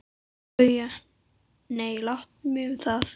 BAUJA: Nei, láttu mig um það.